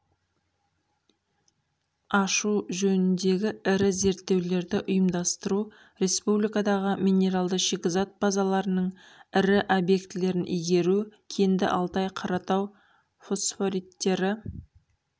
ашу жөніндегі ірі зертеулерді ұйымдастыру республикадағы минералды-шикізат базаларының ірі объектілерін игеру кенді алтай қаратау фосфориттері